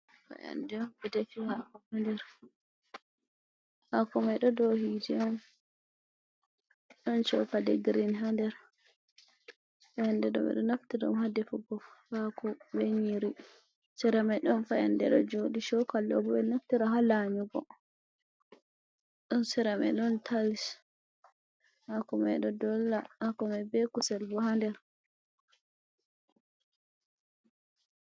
Fayande on ɓeɗefi ha'ko ha nder ha'ko mai ɗo do hite on ɗon chokali girin ha nder, fayande ɗo ɓe ɗo naftira on hadefu gohako be nyiri seramai ɗon faande ɗo joɗi chokali bo ɗo nafti ra ha lanyugo, ɗon seramai ɗon tayis ha komai ɗo dolla hako be kusel bo ha nder.